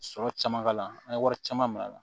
Sɔrɔ caman k'a la an ye wari caman minɛ a la